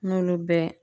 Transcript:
N'olu bɛɛ